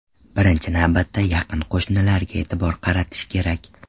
Birinchi navbatda yaqin qo‘shnilarga e’tibor qaratish kerak.